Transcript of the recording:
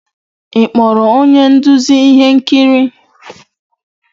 Ị kpọrọ onye nduzi ihe nkiri?